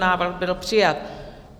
Návrh byl přijat.